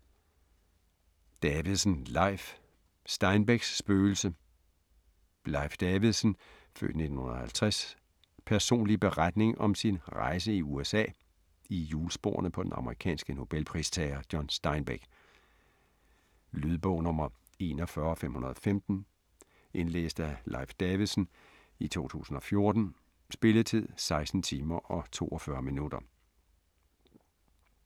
Davidsen, Leif: Steinbecks spøgelse Leif Davidsens (f. 1950) personlige beretning om sin rejse i USA i hjulsporene på den amerikanske nobelpristager John Steinbeck. Lydbog 41515 Indlæst af Leif Davidsen, 2014. Spilletid: 16 timer, 42 minutter.